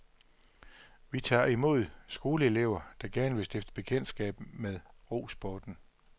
Vi tager imod skoleelever, der gerne vil stifte bekendtskab med rosporten.